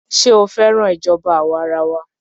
Ṣé ó féràn ìṣèjọba àwa arawa?